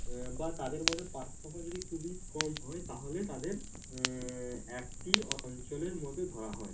আহ বা তাদের মধ্যে পার্থক্য যদি খুবই কম হয় তাহলে তাদের আহ একটি অঞ্চলের মধ্যে ধরা হয়